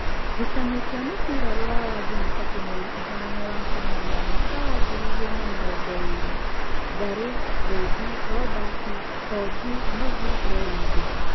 Ngucanio cia mũbira Ruraya Jumatatũ mweri ĩthano wakanana mwaka wa ngiri igĩrĩ na namĩrongoĩrĩ: Ngari, Thĩnji, Robert, Honji, Novi, Lewithi